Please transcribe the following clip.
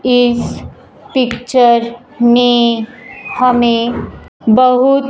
इस पिक्चर में हमें बहुत--